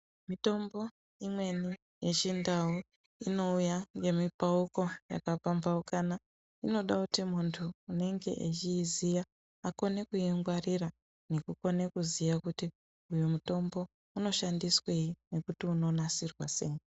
Mitombo imweni yechindau inouya ngemukuwo wakapambaukana inoda kuti muntu unonga wechiiziva aonyase kuongorora nekuziva kuti mutombo unoshandiswei nekuti inonasirwa sei.